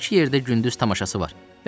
Bir-iki yerdə gündüz tamaşası var.